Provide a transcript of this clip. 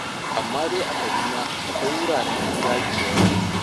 Amma dai a Kaduna akwai wuraren 'yan gayu da yawa.